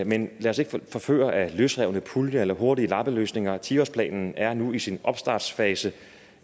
men lad os ikke forføre af løsrevne puljer eller hurtige lappeløsninger ti årsplanen er nu i sin opstartsfase